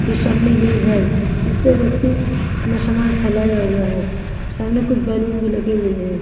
के सामने मेज है जिस पर व्यक्ति अपना सामान फैलाया हुआ है सामने कुछ बैलून भी लगे हुए हैं।